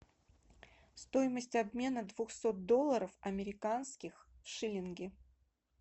стоимость обмена двухсот долларов американских в шиллинги